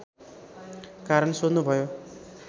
कारण सोध्नुभयो